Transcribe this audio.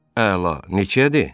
Əla, neçəyədir?